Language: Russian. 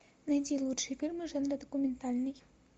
найди лучшие фильмы жанра документальный